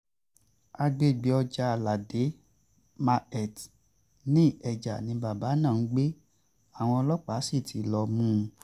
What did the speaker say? àgbègbè ọjà aládé market ní ikeja ni bàbá náà ń gbé àwọn ọlọ́pàá sí ti lọ́ọ̀ mú un